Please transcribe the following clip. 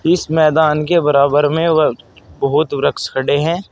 इस मैदान के बराबर में व बहोत वृक्ष खड़े हैं।